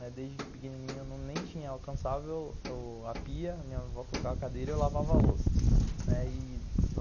Desde pequenininho eu nem tinha, eu alcançava a pia, minha avó colocava a cadeira e eu lavava a louça.